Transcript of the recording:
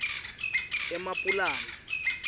emapulani